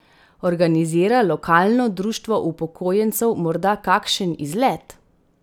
Organizira lokalno društvo upokojencev morda kakšen izlet?